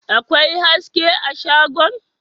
akwai haske a shagon